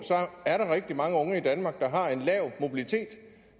er der rigtig mange unge i danmark der har en lav mobilitet